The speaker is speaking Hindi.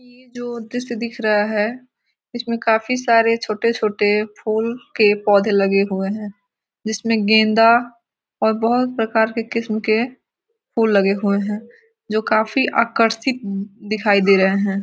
ये जो दृस्य दिख रहा है इसमें काफी सारे छोटे-छोटे फूल के पौधें लगे हुए हैं जिसमें गेंदा और बहुत प्रकार के किस्म के फूल लगे हुए हैं जो काफी आकर्सक दिखाई दे रहे हैं।